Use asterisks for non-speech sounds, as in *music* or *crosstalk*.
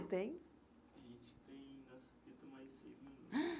tem A gente tem *unintelligible* mais seis minutos. *unintelligible*